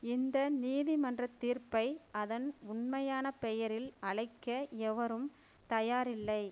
இந்த நீதிமன்ற தீர்ப்பை அதன் உண்மையான பெயரில் அழைக்க எவரும் தயாரில்லை